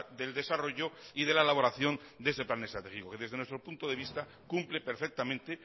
del desarrollo y de la elaboración de este plan estratégico que desde nuestro punto de vista cumple perfectamente